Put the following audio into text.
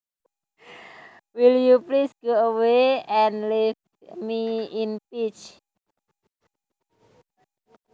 Will you please go away and leave me in peace